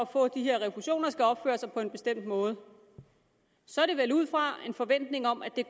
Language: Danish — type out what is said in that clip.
få de her refusioner skal opføre sig på en bestemt måde sker det vel ud fra en forventning om at de